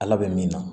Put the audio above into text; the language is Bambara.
Ala bɛ min na